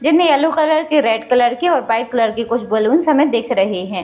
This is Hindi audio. जिनमें येलो कलर के रेड कलर के व्हाइट कलर के कुछ बैलून हमें दिख रहे हैं।